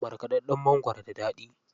Markaɗaɗɗan mangwaro da daɗi.